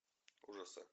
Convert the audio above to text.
ужасы